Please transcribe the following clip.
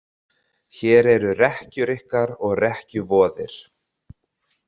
Hér eru rekkjur ykkar og rekkjuvoðir